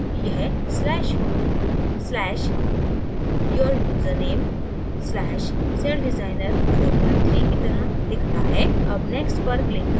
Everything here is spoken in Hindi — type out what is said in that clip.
यह/home/<your username>/celldesigner43 की तरह दिखता है अब next पर click करें